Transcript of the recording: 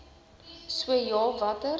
so ja watter